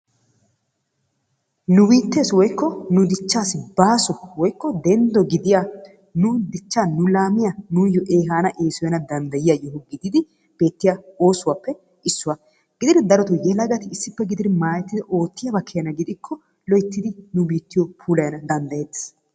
Nu biitteessi woikko nu dichchaassi baaso woikko denddo gidiya nu dichcha nu laamiya nuuyoo ehaana esoyana dandayiyaa osuwaappe issuwa gididi maayettidi oottiyabaa keena gidikko loyttidi nu biittiyo puulayana dandayeetes.